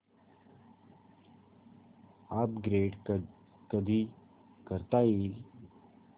upgrade कधी करता येईल